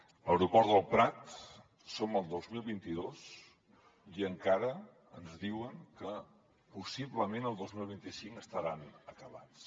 a l’aeroport del prat som al dos mil vint dos i encara ens diuen que possiblement el dos mil vint cinc estaran acabats